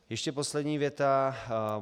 Ještě poslední věta.